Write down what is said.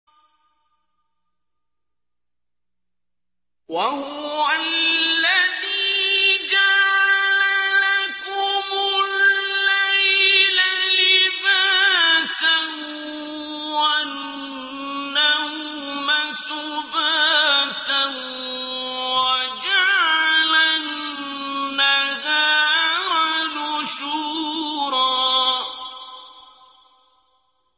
وَهُوَ الَّذِي جَعَلَ لَكُمُ اللَّيْلَ لِبَاسًا وَالنَّوْمَ سُبَاتًا وَجَعَلَ النَّهَارَ نُشُورًا